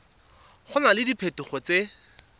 go na le diphetogo tse